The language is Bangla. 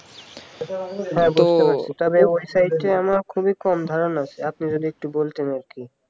তবে ওই site আমার খুবই কম ধারণা আছে আপনি যদি একটু বলতেন আরকি